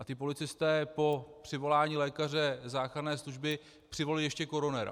A ti policisté po přivolání lékaře záchranné služby přivolali ještě koronera.